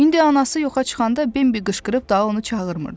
İndi anası yoxa çıxanda Bimbi qışqırıb daha onu çağırmırdı.